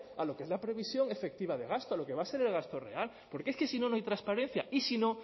a lo que es la previsión efectiva de gasto a lo que va a ser el gasto real porque es que si no no hay transparencia y si no